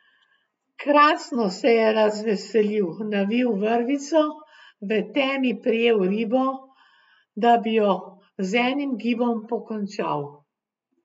Krasno, se je razveselil, navil vrvico, v temi prijel ribo, da bi jo z enim gibom pokončal.